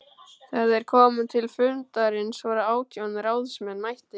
Þegar þeir komu til fundarins voru átján ráðsmenn mættir.